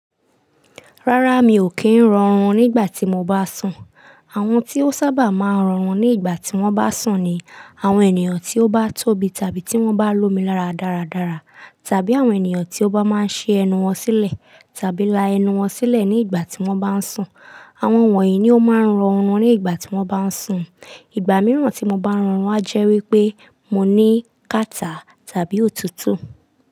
Rárá, mi ò kí ń rọrùn nígbà tí mo bá sùn. Àwọn tí ó sábà máa ń rọrùn nígbà tí wọ́n bá sùn ni àwọn ènìyàn tí ó bá tóbi tàbí tí wọ́n bá lomi lára dáradára, tàbí àwọn ènìyàn tí ó bá máa ń ṣe ẹnu wọn sílẹ̀ tàbí la ẹnu wọn sílẹ̀ ní igbà tí wọ́n bá ń sùn. Àwọn wọ̀nyí ni ó máa ń rọrùn nígbà tí wọ́n bá ń sùn. Ìgbà mìíràn tí mo bá rọrùn a jẹ́ wípé mo ní kàtá tàbí òtútù.